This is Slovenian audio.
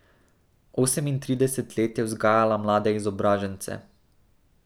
Osemintrideset let je vzgajala mlade izobražence.